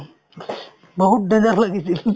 বহুত